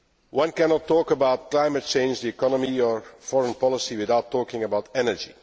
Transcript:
One cannot talk about climate change, the economy or foreign policy without talking about energy.